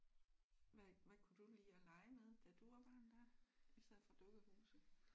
Hvad hvad kunne du lide at lege med da du var barn dig? I stedet for dukkehuse?